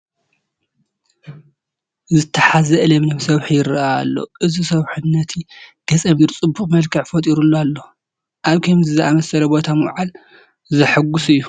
ዝተሓዝአ ለምለም ሰውሒ ይርአ ኣሎ፡፡ እዚ ሰውፊ ነቲ ገፀ ምድሪ ፅቡቕ መልክዕ ፈጢሩሉ ኣሎ፡፡ ኣብ ከምዚ ዝኣምሰለ ቦታ ምውዓል ዘሕጉስ እዩ፡፡